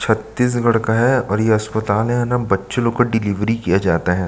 छत्तीसगढ़ का है और यह अस्पताल है यहाँ न बच्चे लोगो का डिलीवरी किया जाता है।